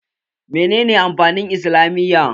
Menene amfanin islamiyya?